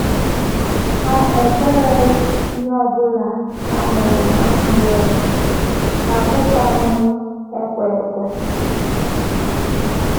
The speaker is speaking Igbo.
Ha ekwereghị ihe ọ bụla ha nụrụ n’ajụghị ase, ha abụkwanụghị ekwe ekwe.